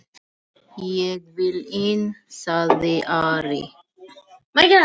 Ég vil inn, sagði Ari.